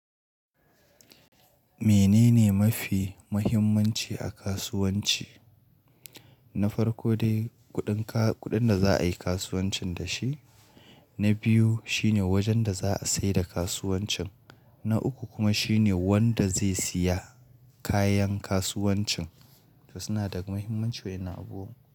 Menene mafi muhimmanci a kasuwanci? Na farko dai kuɗin ka, kuɗin da za a yi kasuwancin da shi. Na biyu shine wajen da za a sayar da kasuwancin. Na uku kuma shine wanda zai siya kayan kasuwancin. To suna da muhimmanci waɗannan abubuwan.